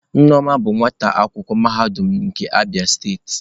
Nneoma bụ nwata akwụkwọ mahadum nke Abia steeti.